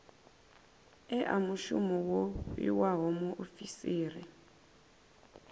ea mushumo wo fhiwaho muofisiri